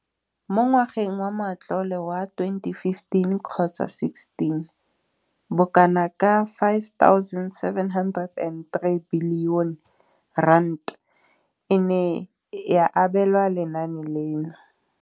Mo ngwageng wa matlole wa 2015,16, bokanaka R5 703 bilione e ne ya abelwa lenaane leno.